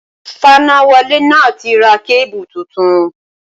Fanáwọlé náà ti ra kébù tuntun